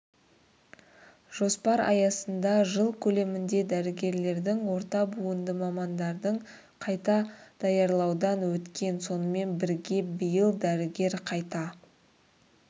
жоспар аясында жыл көлемінде дәрігерлердің орта буынды мамандардың қайта даярлаудан өткен сонымен бірге биыл дәрігер қайта